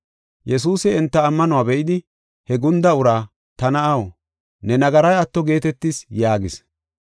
Yesuusi enta ammanuwa be7idi, he gunda uraa, “Ta na7aw, ne nagaray atto geetetis” yaagis.